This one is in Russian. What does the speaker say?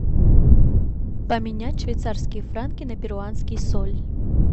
поменять швейцарские франки на перуанский соль